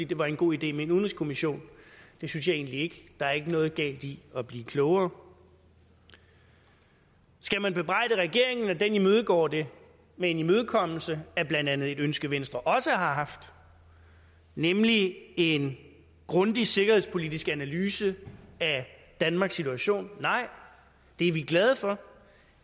det var en god idé med en udenrigskommission det synes jeg egentlig ikke der er ikke noget galt i at blive klogere skal man bebrejde regeringen at den imødegår det med en imødekommelse af blandt andet et ønske venstre også har haft nemlig en grundig sikkerhedspolitisk analyse af danmarks situation nej det er vi glade for